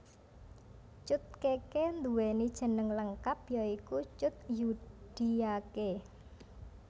Cut Keke nduwèni jeneng lengkap ya iku Cut Zudiake